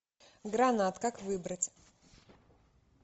гранат как выбрать